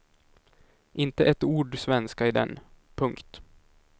Inte ett ord svenska i den. punkt